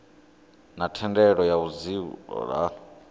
na thendelo ya vhudzulo ha